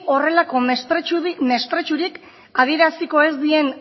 horrelako mesprezurik adieraziko ez dien